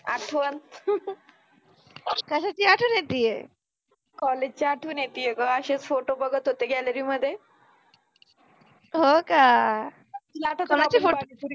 आठ्वण कशाचि आठवण येतिये? कॉलेज चि आठ्वण येतिये ग अशिच फोटो बघत होते गॅलरि मधे हो का, कुनाचे फोटो पाहात होति